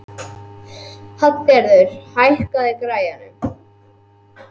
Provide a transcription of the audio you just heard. Hallgerður, hækkaðu í græjunum.